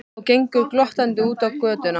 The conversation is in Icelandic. Og gengur glottandi út á götuna.